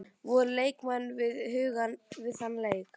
Voru leikmenn við hugann við þann leik?